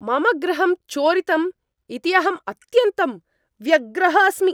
मम गृहं चोरितम् इति अहम् अत्यन्तं व्यग्रः अस्मि।